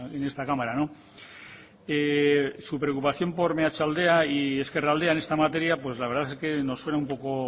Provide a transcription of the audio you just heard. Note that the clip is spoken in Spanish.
en esta cámara su preocupación por meatzaldea y ezkerraldea en esta materia la verdad es que nos suena un poco